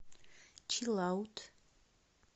чилаут